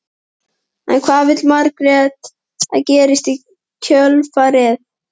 En hvað vill Margrét að gerist í kjölfarið?